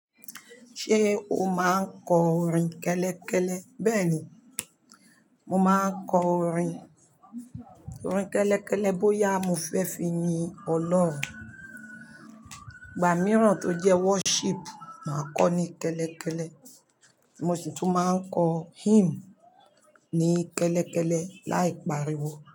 Ṣé o máa ń kọ orin kẹ́lẹ́kẹ́lẹ́? Bẹ́ẹ̀ni, mo máa ń kọ orin, orin kẹ́lẹ́kẹ́lẹ́ bóyá mo fẹ́ fi ni ọlọ́run, ìgbà mìíràn tó jẹ́ worship, màá kọ ní kẹ́lẹ́kẹ́lẹ́, mo sì tún máa ń kọ hymn ní kẹ́lẹ́kẹ́lẹ́ láì pariwo.